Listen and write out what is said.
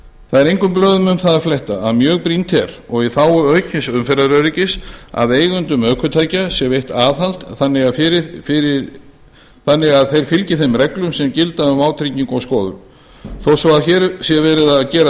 það er engum blöðum um það að fletta að mjög brýnt er og í þágu aukins umferðaröryggis að eigendum ökutækja sé veitt aðhald þannig að þeir fylgi þeim reglum sem gilda um vátryggingu og skoðun þó svo að hér sé verið að gera tillögu